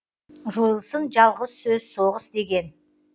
жойылсын жалғыз сөз соғыс деген